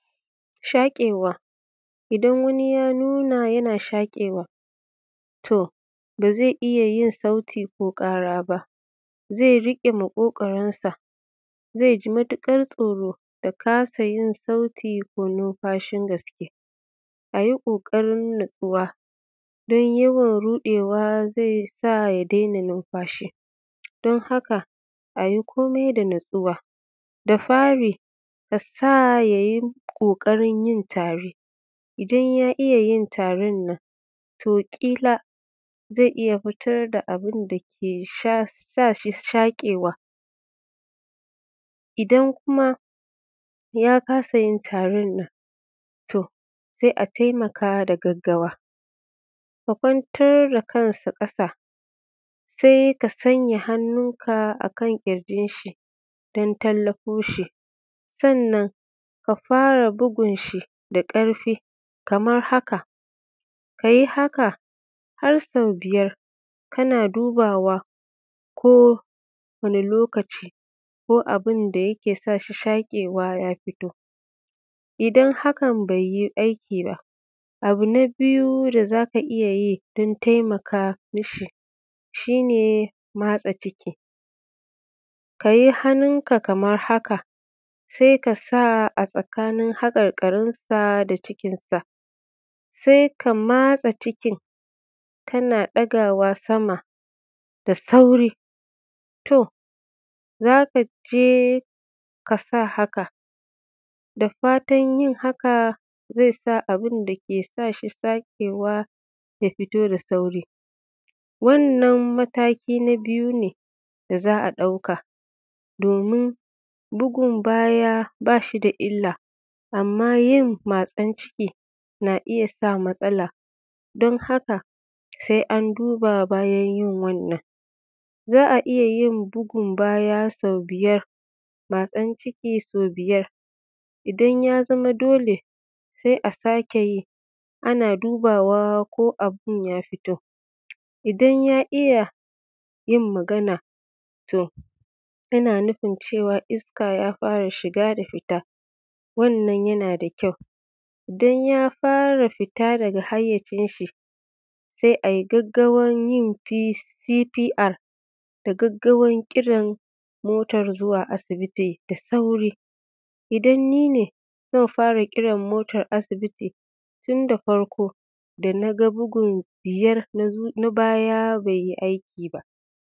Shaƙewa idan Wani ya nuna yana shaƙewa to bazai iyyayin sauti ko kara ba. Zai rike maƙogoro sa zaiji matukar tsoro da kasa yin sauti ko numfashi, ayi kokarin natsuwa dan yawan rudewa zaisa ya kasayin numfashi, don haka ayi komai da natsuwa. Dan haka da fari asa yayi kokarin yin tari idan ya iyyayin tarinnan zai iyyasa ya fitar da abinda ta sashi shakewa, idan kuma ya kasayin tarinnan to sai a taimaka da gaggawa. Ka kwantar da kansa ƙasa sai ka sanya hannu akan kirjin shi dan tallafo shi. Sannan ka fara bugun shi da karfin kaman haka, kayi haka harsau biyar kana dubawa ko Wani lokaci ko abinda yake sashi shakewa ya fito. Idan hakan baiyiaiki ba abu na biyu da zaka iyyayin dan taimaka mishi shine matse ciki, kayi hannun ka kamar haka sai ka matse hakar karinsa cikin sa, sai ka matse cikin kana ɗagawa samar da sauri to zakaje ƙasa haka dafatan yin haka zaisa abinda ke sashi shekewa ya fito da sauri. Wannan mataki na biyu ne da za'a duka domin bugun baya bashi da illa amma yin matsan ciki na iyya sa matsala, Dan haka sai an duba bayan yin wannan. Za'a iyyayin bugun baya sau biyar matsan ciki sau biyar idan ya zama dole sai a sake yi ana dubawa ko abun ya fito, idan ya iyya yin magana to ana nufin cewa iska ya fara shiga da fitar. Wannan yana da kyau idan ya fara fitar daga hayyacin shi sai ai gaggawar yin CTR da gaggawar kiran motar zuwa asibiti da sauri idan nine zanfara Kiran motar asibiti tinda farko sanda naga bugun biyar na bayan baiyi aiki ba.